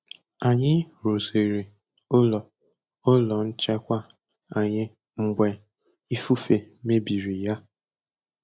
Anyị rụziri ụlọ ụlọ nchekwa anyị mgbe ifufe mebiri ya.